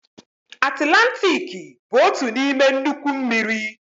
Atilantiki bụ otu n'ime nnukwu mmiri.